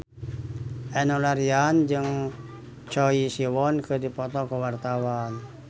Enno Lerian jeung Choi Siwon keur dipoto ku wartawan